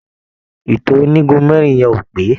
Ìtò onígun mẹ́rin yẹn ò pé.